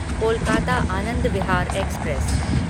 Kolkata Anand Vihar express